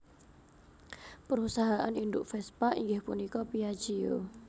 Perusahaan induk Vespa inggih punika Piaggio